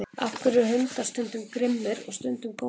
af hverju eru hundar stundum grimmir og stundum góðir